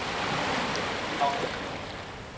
Kongerslev